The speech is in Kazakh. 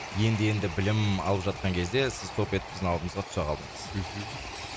енді енді білім алып жатқан кезде сіз топ етіп біздің алдымызға түсе қалдыңыз мхм